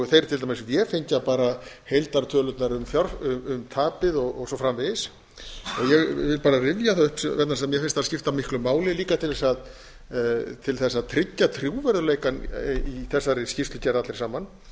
þeir til dæmis vefengja bara heildartölurnar um tapið og svo framvegis ég vil bara rifja það upp vegna þess að mér finnst það skipta miklu máli líka til þess að tryggja trúverðugleikann í þessari skýrslugerð allri saman